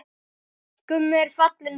Gummi er fallinn frá.